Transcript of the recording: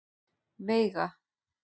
Veiga